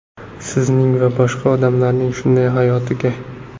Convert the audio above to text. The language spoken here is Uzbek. Sizning va boshqa odamlarning shunday hayotiga.